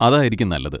അതായിരിക്കും നല്ലത്.